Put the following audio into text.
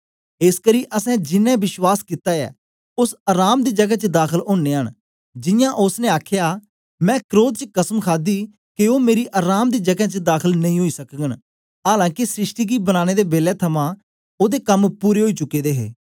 एसकरी असैं जिनैं विश्वास कित्ता ऐ ओस अराम दी जगै च दाखल ओनयां न जियां ओसने आखया मैं क्रोध च कसम खादी के ओ मेरी अराम दी जगें च दाखल नेई ओई सकगन आलां के सृष्टि गी बनाने दे बेलै थमां ओदे कम पूरे ओई चुके दे हे